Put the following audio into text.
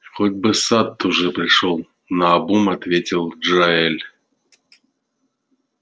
хоть бы сатт уже пришёл наобум ответил джаэль